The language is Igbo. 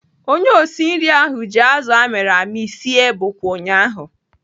Onye osi nri ahụ ji azụ amịrị amị sie bụkwa ụnyaahụ.